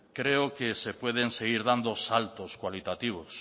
creo que se pueden seguir dando saltos cualitativos